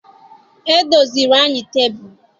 E doziri anyị tebụl